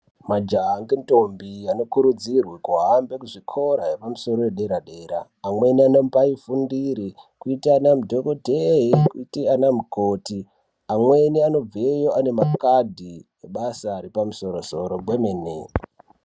Majaha nentombi anokurudzirwa kuhambe kuzvikora zvepasoro zvedera-dera. Amweni anombaafundire kuita madhokoteya kana kuite anamukoti amweni anobvayo makadhi ebasa repamusoro-soro kwemene.